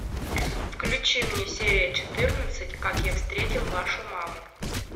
включи мне серия четырнадцать как я встретил вашу маму